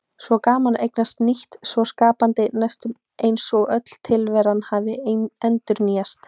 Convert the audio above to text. Svo gaman að eignast nýtt, svo skapandi, næstum eins og öll tilveran hafi endurnýjast.